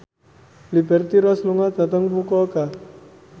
Liberty Ross lunga dhateng Fukuoka